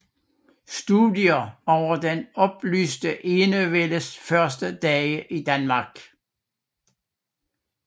Studier over den oplyste enevældes første dage i Danmark